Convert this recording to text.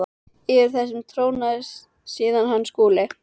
Yfir þessu trónaði síðan hann Skúli.